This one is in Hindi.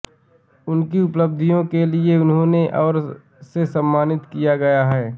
उनकी उपलब्धियों के लिए उन्हें और से सम्मानित किया गया है